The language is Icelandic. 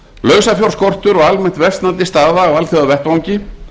lausafjárskortur og almennt versnandi staða á alþjóðavettvangi